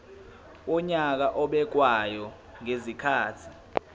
wonyaka obekwayo ngezikhathi